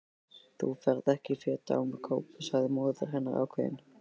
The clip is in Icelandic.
Þú ferð ekki fet án kápu sagði móðir hennar ákveðin.